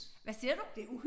Hvad siger du?